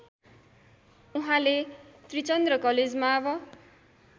उहाँले त्रिचन्द्र कलेजमाव